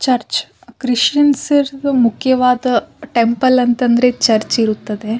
Church Christians ಇರದ್ದು ಮುಖ್ಯವಾದ temple ಅಂತ ಅಂದ್ರೆ ಚರ್ಚ್ ಇರುತ್ತದೆ.